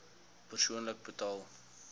persoonlik betaal